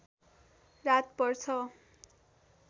रात पर्छ